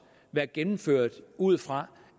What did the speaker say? være gennemført ud fra